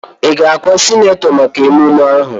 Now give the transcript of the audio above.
Ị ga-akwa sinetọ maka mmemme ahụ?